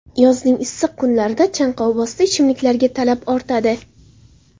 Yozning issiq kunlarida chanqovbosdi ichimliklarga talab ortadi.